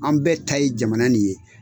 An bɛɛ ta ye jamana nin ye